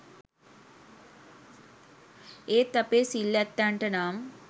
ඒත් අපේ සිල් ඇත්තන්ට නම්